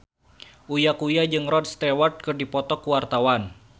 Uya Kuya jeung Rod Stewart keur dipoto ku wartawan